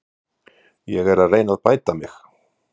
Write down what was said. Ég er að reyna að bæta mig.